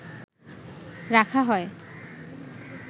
রাখা হয়